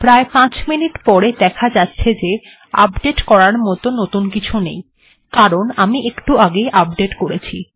প্রায় পাঁচ মিনিট পরে দেখা যাচ্ছে যে নতুন কিছু আপডেট্ করার মত নতুন কিছু নেই কারণ আমি একটু আগেই আপডেট্ করেছি